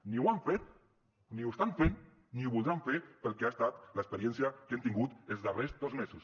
ni ho han fet ni ho estan fent ni ho voldran fer pel que ha estat l’experiència que hem tingut els darrers dos mesos